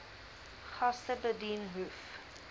gaste bedien hoef